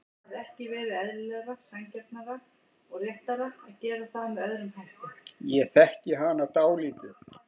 Ég þekki hana dálítið.